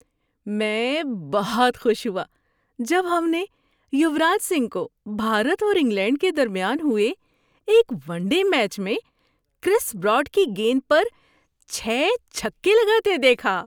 میں بہت خوش ہوا جب ہم نے یوراج سنگھ کو بھارت اور انگلینڈ کے درمیان ہوئے ایک ون ڈے میچ میں کرس براڈ کی گیند پر چھ چھکے لگاتے دیکھا۔